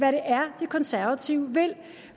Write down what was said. er de konservative vil